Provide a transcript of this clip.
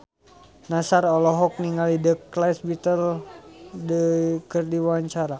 Nassar olohok ningali The Beatles keur diwawancara